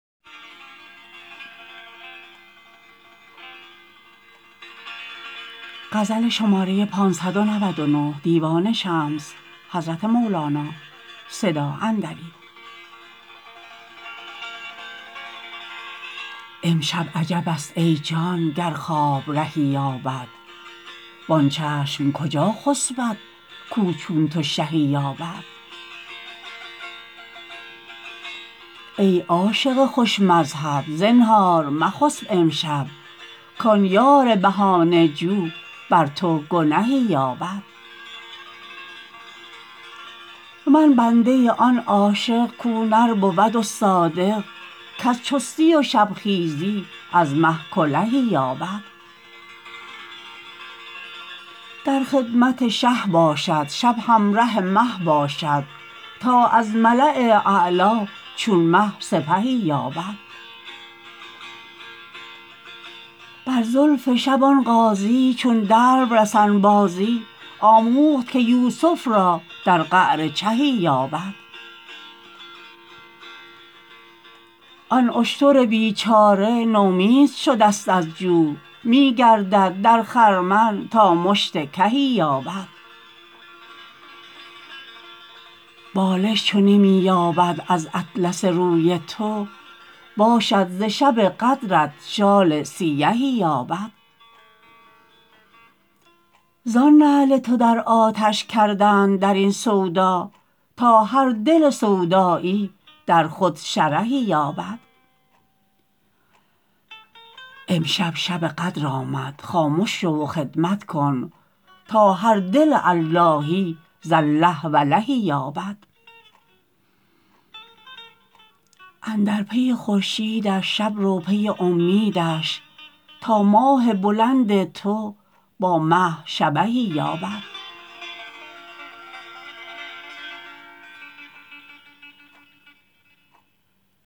امشب عجبست ای جان گر خواب رهی یابد وان چشم کجا خسپد کاو چون تو شهی یابد ای عاشق خوش مذهب زنهار مخسب امشب کان یار بهانه جو بر تو گنهی یابد من بنده آن عاشق کاو نر بود و صادق کز چستی و شبخیزی از مه کلهی یابد در خدمت شه باشد شب همره مه باشد تا از ملاء اعلا چون مه سپهی یابد بر زلف شب آن غازی چون دلو رسن بازی آموخت که یوسف را در قعر چهی یابد آن اشتر بیچاره نومید شدست از جو می گردد در خرمن تا مشت کهی یابد بالش چو نمی یابد از اطلس روی تو باشد ز شب قدرت شال سیهی یابد زان نعل تو در آتش کردند در این سودا تا هر دل سودایی در خود شرهی یابد امشب شب قدر آمد خامش شو و خدمت کن تا هر دل اللهی ز الله ولهی یابد اندر پی خورشیدش شب رو پی امیدش تا ماه بلند تو با مه شبهی یابد